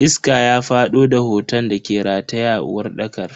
Iska ya fado da hoton dake rataye a uwarɗakar.